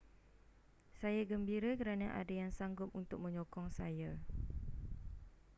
saya gembira kerana ada yang sanggup untuk menyokong saya